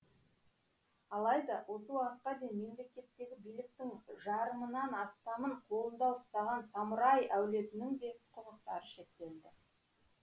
алайда осы уақытқа дейін мемлекеттегі биліктің жарымынан астамын қолында ұстаған самурай әулетінің де құқықтары шектелді